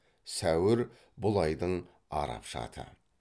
сәуір бұл айдың арапша аты